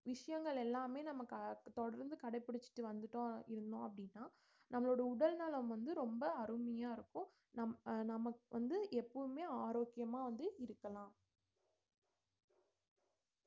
விஷயங்கள் எல்லாமே நமக்கு தொடர்ந்து கடைப்பிடிச்சுட்டு வந்துட்டோம் இருந்தோம் அப்படின்னா நம்மளோட உடல்நலம் வந்து ரொம்ப அருமையா இருக்கும் நம்~ நமக்கு வந்து எப்பவுமே ஆரோக்கியமா வந்து இருக்கலாம்